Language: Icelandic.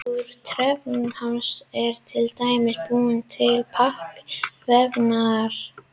Úr trefjum hamps er til dæmis búinn til pappír og vefnaðarvara.